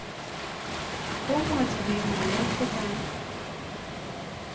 Komwochi piik ng'alek che chang'.